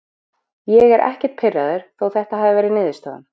Ég er ekkert pirraður þó þetta hafi verið niðurstaðan.